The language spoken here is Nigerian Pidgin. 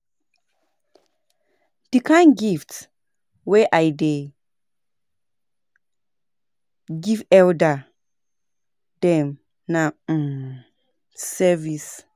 Di kain gift wey I dey give elda dem na um service.